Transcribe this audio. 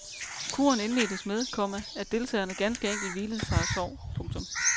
Kuren indledtes med, komma at deltagerne ganske enkelt hvilede sig og sov. punktum